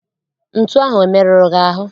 Ntu ahụ emeruru gị ahụ?